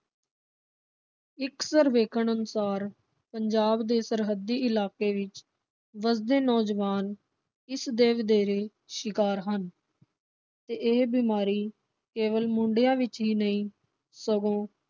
ਇਕ ਸਰਵੇਖਣ ਅਨੁਸਾਰ ਪੰਜਾਬ ਦੇ ਸਰਹੱਦੀ ਇਲਾਕੇ ਵਿਚ ਵਸਦੇ ਨੌਜਵਾਨ ਇਸ ਦੇ ਵਧੇਰੇ ਸ਼ਿਕਾਰ ਹਨ ਤੇ ਇਹ ਬਿਮਾਰੀ ਕੇਵਲ ਮੁੰਡਿਆਂ ਵਿਚ ਹੀ ਨਹੀ ਸਗੋਂ